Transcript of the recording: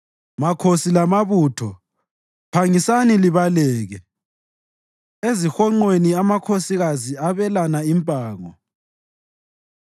“Makhosi lamabutho phangisani libaleke; ezihonqweni amakhosikazi abelana impango.